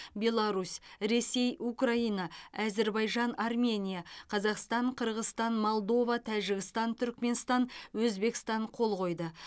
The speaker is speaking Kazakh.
беларусь ресей украина әзербайжан армения қазақстан қырғызстан молдова тәжікстан түрікменстан өзбекстан қол қойды